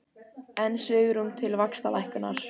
Enn svigrúm til vaxtalækkunar